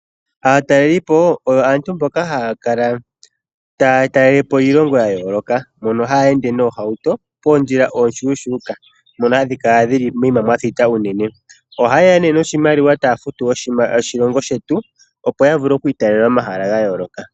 Aatalelipo oyo aantu mboka haya kala taya talelepo iilongo ya yooloka. Mbono hayeende noohauto moondjila oonshuushuuka ndhono hadhi kala moyima mwa thita unene. Ohaye ya nee noshimaliwa taya futu oshilongo shetu opo ya vule oku tala omahala gayooloka.